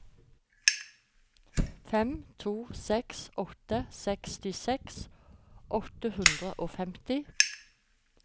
fem to seks åtte sekstiseks åtte hundre og femti